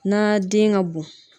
Na den ka bon.